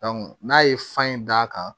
n'a ye fan in d'a kan